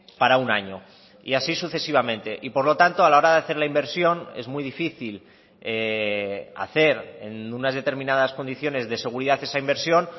para un año y así sucesivamente y por lo tanto a la hora de hacer la inversión es muy difícil hacer en unas determinadas condiciones de seguridad esa inversión